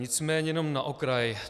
Nicméně jenom na okraj.